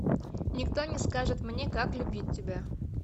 никто не скажет мне как любить тебя